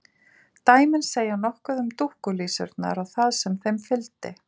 Dæmin segja nokkuð um dúkkulísurnar og það sem þeim fylgdi.